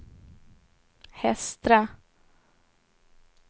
Hestra